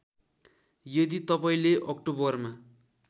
यदि तपाईँले अक्टोबरमा